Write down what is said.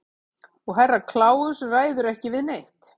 Og Herra Kláus ræður ekki við neitt.